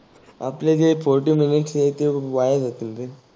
आपले जे forty minutes वाया जातील रे.